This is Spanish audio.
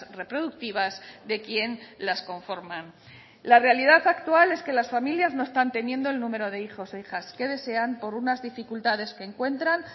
reproductivas de quien las conforman la realidad actual es que las familias no están teniendo el número de hijos e hijas que desean por unas dificultades que encuentran